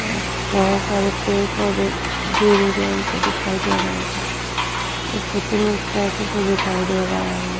और बहुत सारे पेड़-पौधे गिड़-उड़ गए है यही से दिखाई दे रहे है शुतूरमुर्ग टाइप का दिखाई दे रहा है हमे --